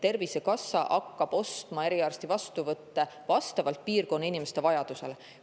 Tervisekassa hakkab ostma eriarsti vastuvõtte vastavalt piirkonna inimeste vajadusele.